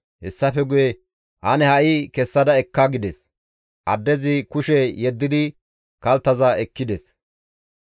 Hessafe guye, «Ane ha7i kessada ekka» gides; addezi kushe yeddidi kalttaza ekkides.